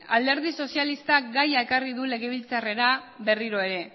alderdi sozialistak gaia ekarrik du legebiltzarrera berriro ere